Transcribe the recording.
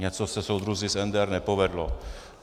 Něco se, soudruzi z NDR, nepovedlo.